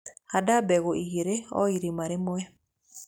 Handa mbegu igĩrĩ o irima rĩmwe.